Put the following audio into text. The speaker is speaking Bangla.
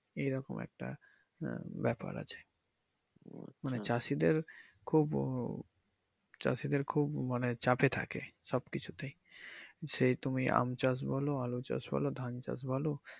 এই রকম একটা আহ ব্যাপার আছে মানে চাষীদের খুব আহ চাষীদের খুব মানে চাপে থাকে সব কিছুতেই যে তুমি আম চাষ বলো আলু চাষ বলো ধান চাষ বলো।